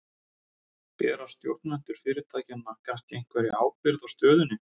Bera stjórnendur fyrirtækjanna kannski einhverja ábyrgð á stöðunni?